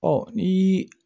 Ɔ ni